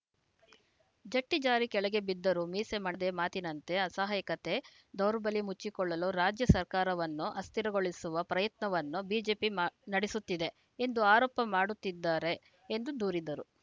ಜಟ್ಟಿಜಾರಿ ಕೆಳಗೆ ಬಿದ್ದರೂ ಮೀಸೆ ಮಾಡದೆ ಮಾತಿನಂತೆ ಅಸಹಾಯಕತೆ ದೌರ್ಬಲ್ಯ ಮುಚ್ಚಿಕೊಳ್ಳಲು ರಾಜ್ಯ ಸರ್ಕಾರವನ್ನು ಅಸ್ಥಿರಗೊಳಿಸವ ಪ್ರಯತ್ನವನ್ನು ಬಿಜೆಪಿ ಮ ನಡೆಸುತ್ತಿದೆ ಎಂದು ಆರೋಪ ಮಾಡುತ್ತಿದ್ದಾರೆ ಎಂದು ದೂರಿದರು